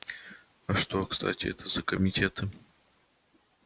а что кстати это за комитеты